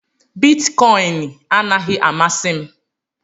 Bitikoin anaghị amasị m